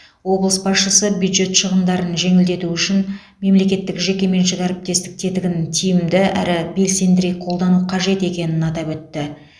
облыс басшысы бюджет шығындарын жеңілдету үшін мемлекеттік жекеменшік әріптестік тетігін тиімді әрі белсендірек қолдану қажет екенін атап өтті